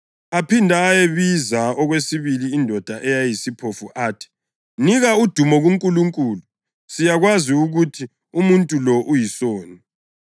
Aphinda ayibiza okwesibili indoda eyayiyisiphofu athi, “Nika udumo kuNkulunkulu. Siyakwazi ukuthi umuntu lo uyisoni.”